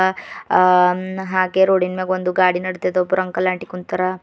ಅ ಹಾಗೆ ರೋಡಿನ ಮ್ಯಾಗ ಒಂದು ಗಾಡಿ ನಡದದ ಒಬ್ರು ಅಂಕಲ್ ಆಂಟಿ ಕುಂತಾರ.